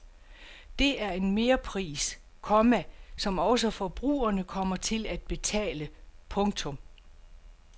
Det er en merpris, komma som også forbrugerne kommer til at betale. punktum